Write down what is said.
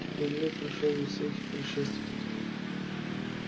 перелёт прошёл без всяких происшествий